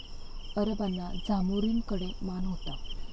अरबांना झामोरीनकडे मान होता.